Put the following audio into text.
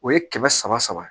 O ye kɛmɛ saba saba ye